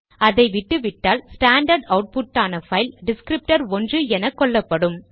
அதை விட்டுவிட்டால் standard output ஆன பைல் டிஸ்க்ரிப்டர்1 என கொள்ளப்படும்